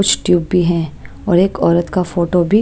कुछ ट्यूब भी हैं और एक औरत का फोटो भी --